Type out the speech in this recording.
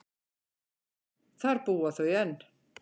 Þar búa þau enn.